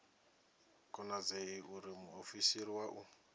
konadzei uri muofisiri wa u